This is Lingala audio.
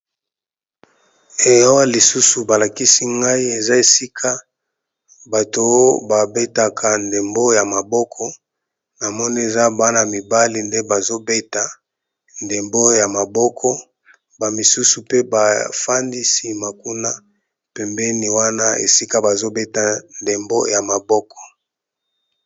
Awa lisusu balakisi nga, eza esika oyo babetaka, ndembo ya maboko